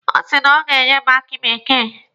Ọ sị na o ga-enye m aki bekee.